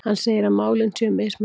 Hann segir að málin séu mismunandi